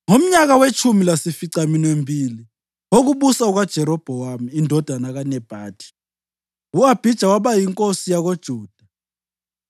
Ngomnyaka wetshumi lasificaminwembili wokubusa kukaJerobhowamu indodana kaNebhathi, u-Abhija waba yinkosi yakoJuda,